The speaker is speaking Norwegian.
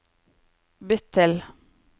bytt til